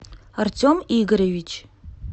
артем игоревич